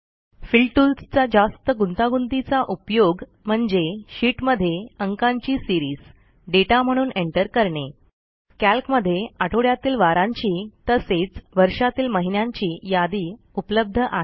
fill tools चा जास्त गुंतागुंतीचा उपयोग म्हणजे शीटमधे अंकांची सीरीज डेटा म्हणून एंटर करणे कॅल्कमधे आठवड्यातील वारांची तसेच वर्षातील महिन्यांची यादी उपलब्ध आहे